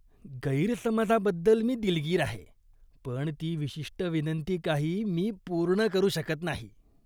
गैरसमजाबद्दल मी दिलगीर आहे, पण ती विशिष्ट विनंती काही मी पूर्ण करू शकत नाही.